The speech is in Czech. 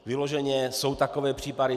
Vyloženě jsou takové případy.